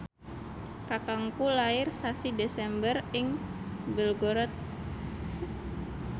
kakangku lair sasi Desember ing Belgorod